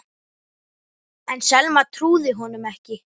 En Selma trúði honum ekki.